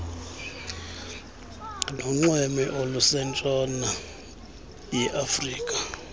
nonxweme olusentshona yeafrika